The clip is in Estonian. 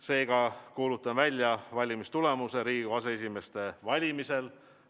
Seega kuulutan välja valimistulemuse Riigikogu aseesimeeste valimisel.